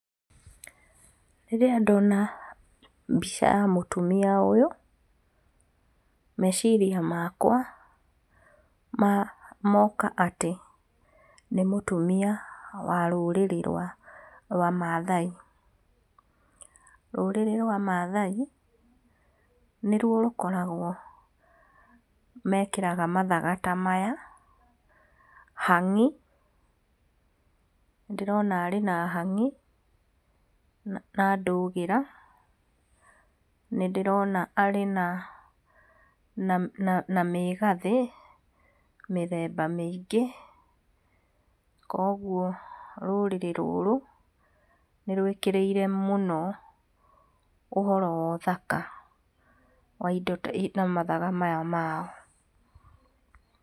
Rĩrĩa ndonambica ya mũtumia ũyũ, meciria makwa moka atĩ nĩ mũtumia wa rũrĩrĩ rwa rwa mathai, rũrĩrĩ rwa mathai, nĩruo rũkoragwo mekĩraga mathaga ta maya, hang'i, nĩ ndĩrona arĩ na hang'i, na ndũgĩra, nĩ ndĩrona arĩ na na mĩgathĩ mĩthemba mĩingĩ, koguo rũrĩrĩ rũrũ, nĩ rũĩkĩrĩire mũno ũhoro wa ũthaka wa indo wa mathaga maya mao.